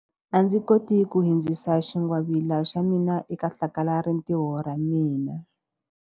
A ndzi koti ku hundzisa xingwavila xa mina eka hlakalarintiho ra ra mina.